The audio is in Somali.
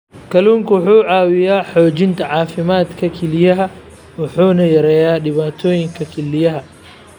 Kalluunku wuxuu caawiyaa xoojinta caafimaadka kelyaha wuxuuna yareeyaa dhibaatooyinka kelyaha.